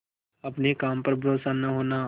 अपने काम पर भरोसा न होना